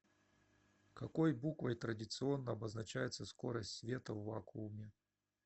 какой буквой традиционно обозначается скорость света в вакууме